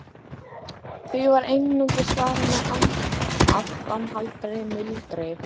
Því var einungis svarað með áframhaldandi muldri.